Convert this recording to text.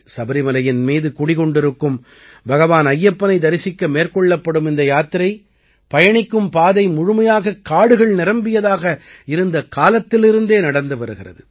சபரிமலையின் மீது குடிகொண்டிருக்கும் பகவான் ஐயப்பனை தரிசிக்க மேற்கொள்ளப்படும் இந்த யாத்திரை பயணிக்கும் பாதை முழுமையாகக் காடுகள் நிரம்பியதாக இருந்த காலத்திலிருந்தே நடந்து வருகிறது